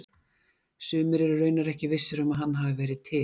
sumir eru raunar ekki vissir um að hann hafi verið til